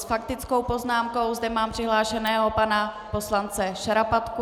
S faktickou poznámkou zde mám přihlášeného pana poslance Šarapatku.